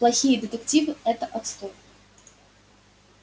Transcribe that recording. плохие детективы это отстой